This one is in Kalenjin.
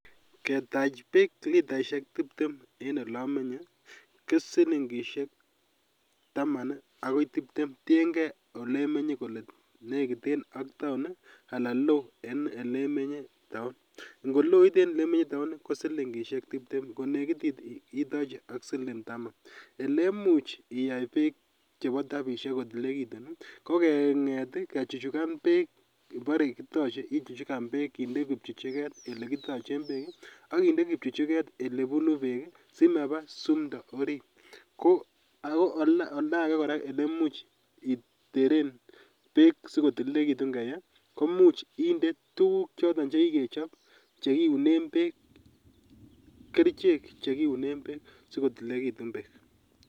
Ketache Keb litaishek tiptem en elomeny ko shilingishek Taman ak keba Barak tiengei ak round en elemenye ngoloit en elemenye ko shilingishek nekit elemuch iyai bek chebo taipishek kotililikitun ko kenget kechuchugan bekngebore kitoche ichuchugan bek en kipchuchuget akindoi kipchuchjket elebunu bek oldo Ake kora elechopto bek ko much inde tukuk choton vhekigechob chekiunen bek kerchek chekiunen bek asikotililetun bek